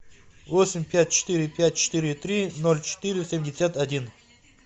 восемь пять четыре пять четыре три ноль четыре семьдесят один